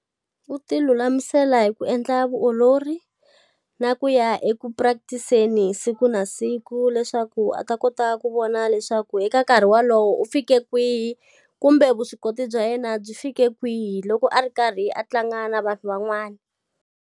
U ti lulamisela hi ku endla vutiolori, na ku ya eku practice-seni hi siku na siku leswaku a ta kota ku vona leswaku eka nkarhi wolowo u fike kwihi, kumbe vuswikoti bya yena byi fike kwihi loko a ri karhi a tlanga na vanhu van'wana.